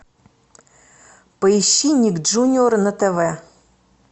поищи ник джуниор на тв